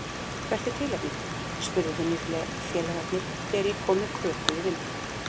Hvert er tilefnið? spurðu vinnufélagarnir þegar ég kom með köku í vinnuna.